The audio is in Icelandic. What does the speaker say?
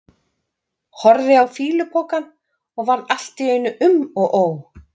Horfði á fýlupokann og varð allt í einu um og ó.